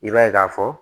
I b'a ye k'a fɔ